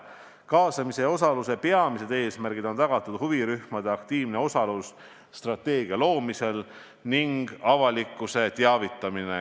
Kaasamise ja osaluse peamiste eesmärkidega on tagatud huvirühmade aktiivne osalemine strateegia loomisel ning avalikkuse teavitamine.